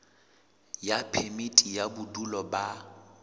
ya phemiti ya bodulo ba